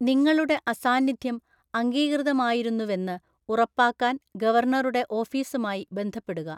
നിങ്ങളുടെ അസാന്നിധ്യം അംഗീകൃതമായിരുന്നുവെന്ന് ഉറപ്പാക്കാൻ ഗവർണറുടെ ഓഫീസുമായി ബന്ധപ്പെടുക.